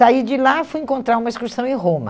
Saí de lá, fui encontrar uma excursão em Roma.